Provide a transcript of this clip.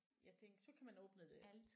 Jeg tænkte så kan man åbne det